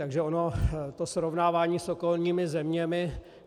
Takže ono to srovnávání s okolními zeměmi...